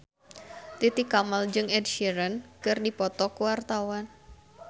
Titi Kamal jeung Ed Sheeran keur dipoto ku wartawan